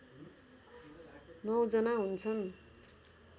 ९ जना हुन्छन्